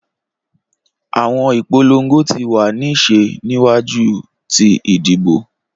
Awọn ipolongo ti wa ni ṣe niwaju ti idibo.